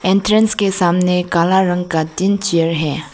Entrance के सामने काला रंग का तीन चेयर है।